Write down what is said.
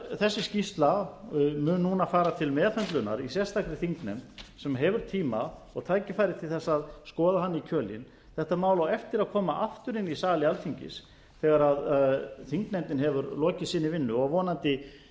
þessi skýrsla mun núna fara til meðhöndlunar í sérstakri þingnefnd sem hefur tíma og tækifæri til þess að skoða hana í kjölinn þetta mál á eftir að koma aftur inn í sali alþingis þegar þingnefndin hefur lokið sinni vinnu og vonandi